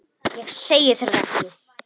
Ég segi þér það ekki.